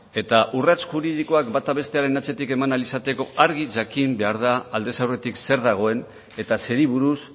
eta urrats juridikoak bata bestearen atzetik eman ahal izateko argi jakin behar da aldez aurretik zer dagoen eta zeri buruz